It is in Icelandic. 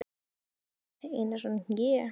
Dagbjartur Einarsson: Ég?